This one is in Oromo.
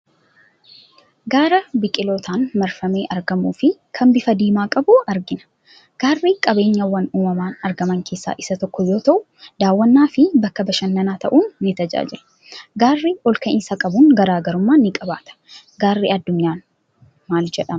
Gaara biqilootaan marfamee argamuufi kan bifa diimaa qabu arginaa. Gaarri qabeenyawwan uumamaan argaman keessaa isa tokko yoo ta'u daawwannaafi bakka bashannanaa ta'uun ni tajaajilaa. Gaarri olka'iinsa qabuun garaagarummaa ni qabaata. Gaarri guddaan addunyaa maal jedhama ?